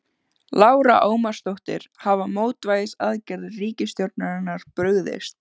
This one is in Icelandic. Lára Ómarsdóttir: Hafa mótvægisaðgerðir ríkisstjórnarinnar brugðist?